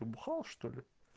ты бухал что ли